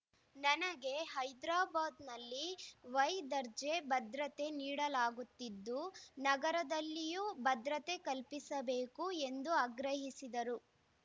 ನನಗೆ ಹೈದರಾಬಾದ್‌ನಲ್ಲಿ ವೈ ದರ್ಜೆ ಭದ್ರತೆ ನೀಡಲಾಗುತ್ತಿದ್ದು ನಗರದಲ್ಲಿಯೂ ಭದ್ರತೆ ಕಲ್ಪಿಸಬೇಕು ಎಂದು ಆಗ್ರಹಿಸಿದರು